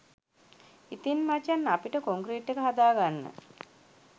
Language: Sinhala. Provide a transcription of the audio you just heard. ඉතින් මචන් අපිට කොන්ක්‍රීට් එක හදාගන්න